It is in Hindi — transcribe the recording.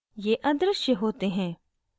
ये अदृश्य होते हैं